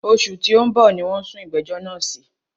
Òṣù tí o ń bọ̀ ní wọ́n sún ìgbẹ̀jọ́ náà sí.